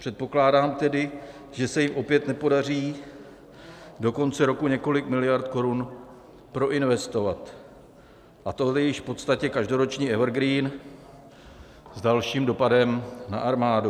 Předpokládám tedy, že se jim opět nepodaří do konce roku několik miliard korun proinvestovat, a to je již v podstatě každoroční evergreen s dalším dopadem na armádu.